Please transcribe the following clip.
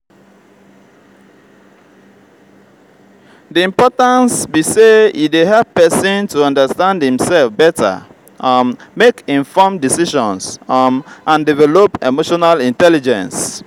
di importance be say e dey help pesin to understand imself beta um make informed decisions um and develop emotional intelligence.